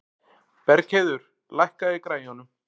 Bergheiður, lækkaðu í græjunum.